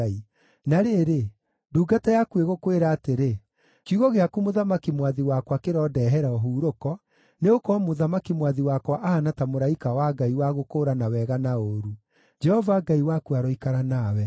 “Na rĩrĩ, ndungata yaku ĩgũkwĩra atĩrĩ, ‘Kiugo gĩaku mũthamaki mwathi wakwa kĩrondeehere ũhurũko, nĩgũkorwo mũthamaki mwathi wakwa ahaana ta mũraika wa Ngai wa gũkũũrana wega na ũũru. Jehova Ngai waku aroikara nawe.’ ”